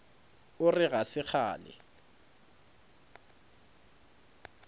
o re ga se kgale